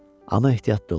Amma ehtiyatlı ol.